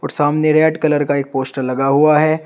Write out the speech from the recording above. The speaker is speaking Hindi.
र सामने रेड कलर का एक पोस्टर लगा हुआ है।